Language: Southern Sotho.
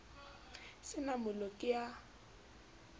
se na mollo ke a